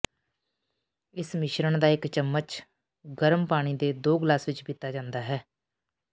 ਇਸ ਮਿਸ਼ਰਣ ਦਾ ਇਕ ਚਮਚ ਗਰਮ ਪਾਣੀ ਦੇ ਦੋ ਗਲਾਸ ਵਿੱਚ ਪੀਤਾ ਜਾਂਦਾ ਹੈ